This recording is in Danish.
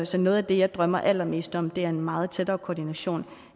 så noget af det jeg drømmer allermest om er en meget tættere koordination